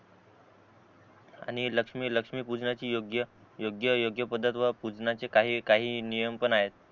आणि लक्ष्मी लक्ष्मी पूजनाची योग्य योग्य योग्य पद्धत व पूजनाचे काही काही नियम पण आहेत